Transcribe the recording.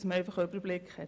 Das ist nicht dasselbe.